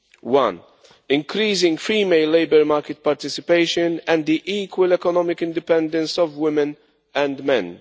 1 increasing female labour market participation and the equal economic independence of women and men